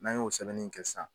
N'a y'o sɛbɛnni in kɛ sisan.